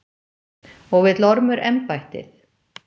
Og vill Ormur embættið?